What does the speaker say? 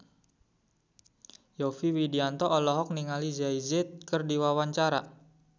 Yovie Widianto olohok ningali Jay Z keur diwawancara